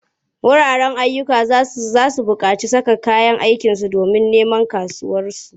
Wuraren ayyuka za su buƙaci saka kayan aiki domin neman kasuwa.